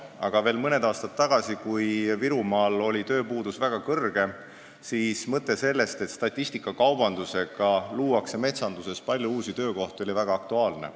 Aga veel mõni aasta tagasi, kui Virumaal oli tööpuudus väga suur, oli mõte sellest, et statistikakaubandusega luuakse metsanduses palju uusi töökohti, väga aktuaalne.